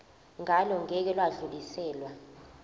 ngalo ngeke lwadluliselwa